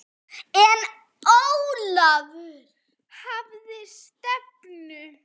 En Ólafur hafði stefnu.